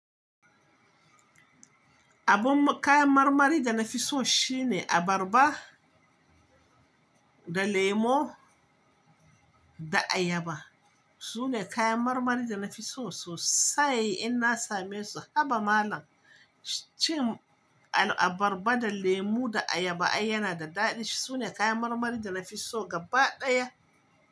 Abun kayan marmari da na fi so shine abarba da lemo da ayaba. Su ne kayan marmarin da na fi so sosai. In na same su, haba malam! Cin abarba da lemo da ayaba ai yana da daɗi. Su ne kayan marmari da na fi so gaba ɗaya.